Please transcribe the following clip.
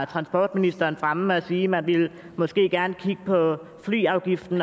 transportministeren fremme og sige at man måske gerne ville kigge på flyafgiften